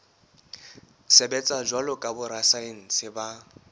sebetsa jwalo ka borasaense ba